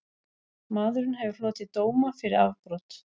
Maðurinn hefur hlotið dóma fyrir afbrot